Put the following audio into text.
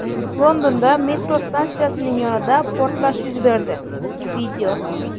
Londonda metro stansiyasining yonida portlash yuz berdi.